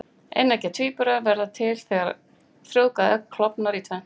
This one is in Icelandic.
Eineggja tvíburar verða til þegar frjóvgað egg klofnar í tvennt.